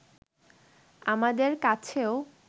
আমাদের কাছেও